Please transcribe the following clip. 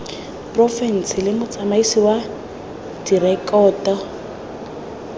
porofense le motsamaisi wa direkoto